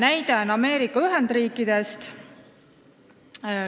Näide on Ameerika Ühendriikidest.